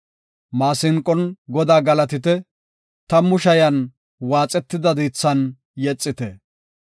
Maasinqon Godaa galatite; tammu shayan waaxetida diithan yexite.